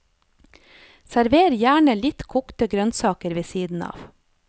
Server gjerne litt kokte grønnsaker ved siden av.